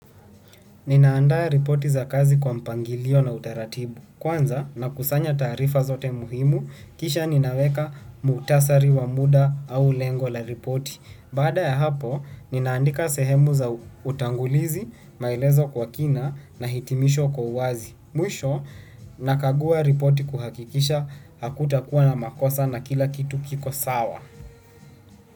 Ninaandaa ripoti za kazi kwa mpangilio na utaratibu. Kwanza na kusanya taarifa zote muhimu, kisha ninaweka mukhutasari wa muda au lengo la ripoti. Baada ya hapo, ninaandika sehemu za utangulizi, maelezo kwa kina na hitimisho kwa uwazi. Mwisho, nakagua ripoti kuhakikisha hakutakuwa na makosa na kila kitu kiko sawa.